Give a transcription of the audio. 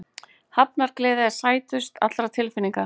Hefndargleðin er sætust allra tilfinninga.